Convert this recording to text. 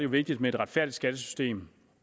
vigtigt med et retfærdigt skattesystem